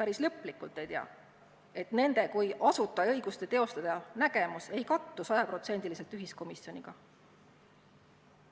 päris lõplikult ei tea –, et nende kui asutajaõiguste teostaja nägemus ei kattu sajaprotsendiliselt ühiskomisjoni omaga.